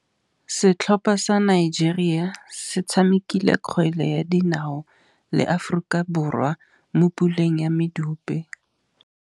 Setlhopha sa Nigeria se tshamekile kgwele ya dinaô le Aforika Borwa mo puleng ya medupe.